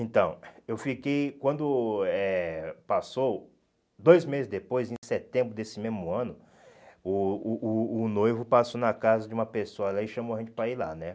Então, eu fiquei, quando eh passou, dois meses depois, em setembro desse mesmo ano, o o o o noivo passou na casa de uma pessoa lá e chamou a gente para ir lá, né?